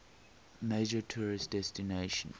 major tourist destination